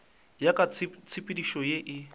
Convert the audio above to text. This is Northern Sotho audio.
ya ka tshepedišo ye e